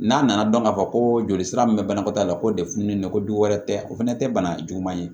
N'a nana dɔn k'a fɔ ko joli sira min bɛ banakɔtaa la ko de fununnen don du wɛrɛ tɛ o fɛnɛ tɛ bana juguman ye